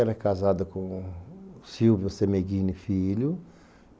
Ela é casada com o Silvio Semeghini Filho.